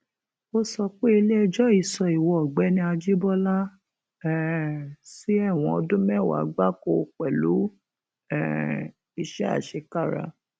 ó sọ pé iléẹjọ yìí sọ ìwo ọgbẹni àjíbọlá um sí ẹwọn ọdún mẹwàá gbáko pẹlú um iṣẹ àṣekára